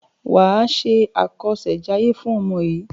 Wà á ṣe àkọsẹ̀jayé fún ọmọ yìí.